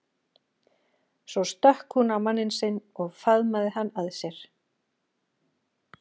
Svo stökk hún á manninn sinn og faðmaði hann að sér.